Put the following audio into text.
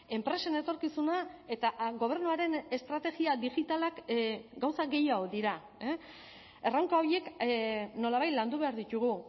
enpresen etorkizuna eta gobernuaren estrategia digitalak gauza gehiago dira erronka horiek nolabait landu behar ditugu